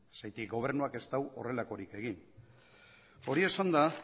zergatik gobernuak ez du horrelakorik egin hori esanda